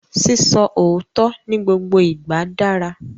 Sísọ òótọ́ ni gbogbo ìgbà dára